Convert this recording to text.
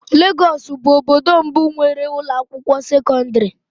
Lagos bụ obodo mbụ nwere ụlọ akwụkwọ sekọndrị.